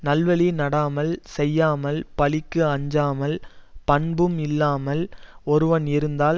நல்வழி நடாமல் செய்யாமல் பழிக்கு அஞ்சாமல் பண்பும் இல்லாமல் ஒருவன் இருந்தால்